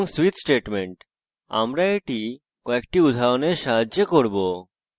switch statement আমরা এটি একটি উদাহরণের সাহায্যে করব